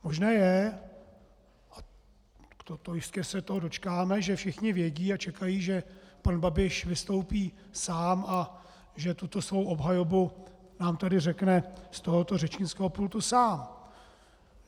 Možné je, a jistě se toho dočkáme, že všichni vědí a čekají, že pan Babiš vystoupí sám a že tuto svou obhajobu nám tady řekne z tohoto řečnického pultu sám.